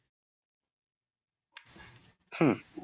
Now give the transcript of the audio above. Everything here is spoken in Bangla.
হম